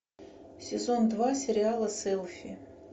сезон два сериала селфи